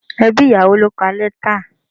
Ẹbí ìyàwó ló ka letter.